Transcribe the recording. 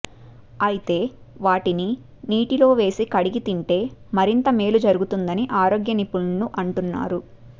అయితే వాటిని నీటిలో వేసి కడిగి తింటే మరింత మేలు జరుగుతుందని ఆరోగ్యనిపుణులు అంటున్నారు